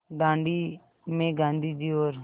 दाँडी में गाँधी जी और